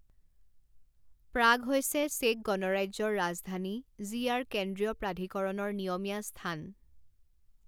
প্ৰাগ হৈছে চেক গণৰাজ্যৰ ৰাজধানী যি ইয়াৰ কেন্দ্ৰীয় প্ৰাধিকৰণৰ নিয়মীয়া স্থান।